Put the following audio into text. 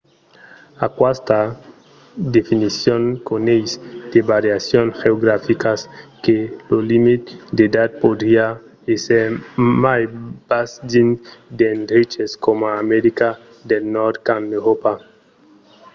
aquesta definicion coneis de variacions geograficas que lo limit d'edat podriá èsser mai bas dins d'endreches coma america del nòrd qu'en euròpa